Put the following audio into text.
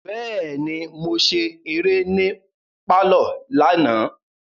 Bẹẹni, Mo ṣe eré ni parlor lana